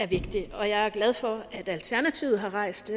vigtig og jeg er glad for at alternativet har rejst